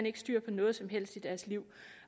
ikke styr på noget som helst i deres liv